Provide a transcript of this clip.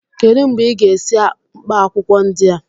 Kedụ mgbe ị ga-esi mkpaakwụkwọ ndị a?